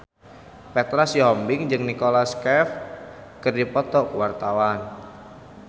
Petra Sihombing jeung Nicholas Cafe keur dipoto ku wartawan